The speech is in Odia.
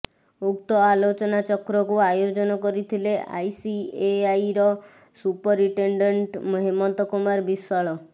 ଉକ୍ତ ଆଲୋଚନାଚକ୍ରକୁ ଆୟୋଜନ କରିଥିଲେ ଆଇସିଏଆଇର ସୁପରିଟେଣ୍ଡେଣ୍ଟ୍ ହେମନ୍ତ କୁମାର ବିଶ୍ୱାଳ